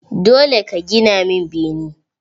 Dole ka gina min bene!